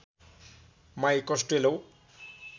my कस्टेलो